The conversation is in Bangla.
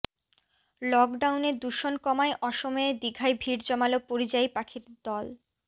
লকডাউনে দূষণ কমায় অসময়ে দীঘায় ভিড় জমাল পরিযায়ী পাখির দল